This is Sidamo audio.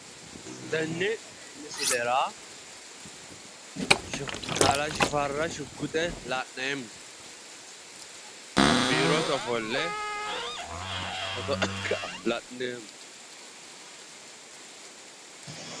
Tenne misilera kalaa Shifarra shuguxe la'neemmo biirote ofolle la'neemmo